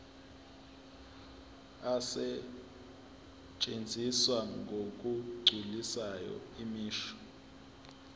asetshenziswa ngokugculisayo imisho